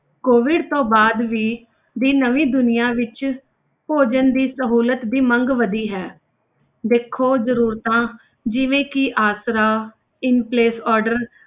COVID ਤੋਂ ਬਾਅਦ ਵੀ ਦੀ ਨਵੀਂ ਦੁਨੀਆ ਵਿੱਚ ਭੋਜਨ ਦੀ ਸਹੂਲਤ ਦੀ ਮੰਗ ਵਧੀ ਹੈ ਦੇਖੋ ਜ਼ਰੂਰਤਾਂ ਜਿਵੇਂ ਕਿ ਆਸਰਾ inplace order